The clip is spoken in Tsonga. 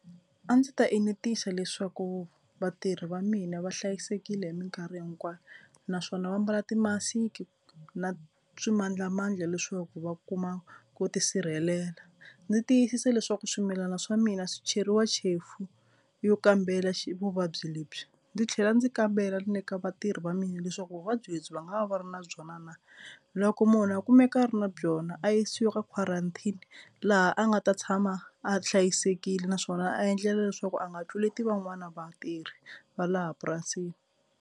A ndzi ta enetisa leswaku vatirhi va mina va hlayisekile hi mikarhi hinkwayo naswona va mbala timasiki na swimandlamandla leswaku va kuma ku tisirhelela. Ni tiyisisa leswaku swimilana swa mina swi cheriwa chefu yo kambela xi vuvabyi lebyi. Ndzi tlhela ndzi kambela ni le ka vatirhi va mina leswaku vuvabyi lebyi va nga va va ri na byona na. Loko munhu a kumeka a ri na byona a yisiwa ka quarantine laha a nga ta tshama a hlayisekile naswona a endlela leswaku a nga tluleti van'wani vatirhi va laha purasini.